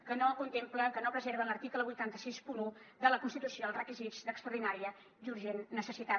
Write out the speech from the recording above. que no contemplen que no preserven l’article vuit cents i seixanta un de la constitució els requisits d’extraordinària i urgent necessitat